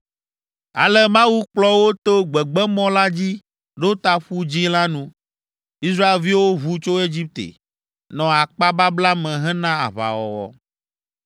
Ale Mawu kplɔ wo to gbegbemɔ la dzi ɖo ta Ƒu Dzĩ la nu. Israelviwo ʋu tso Egipte, nɔ akpababla me hena aʋawɔwɔ.